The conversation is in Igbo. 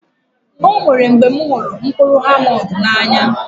Ọ nwèrè mgbè m hụrụ mkpụrụ almọnd n'anya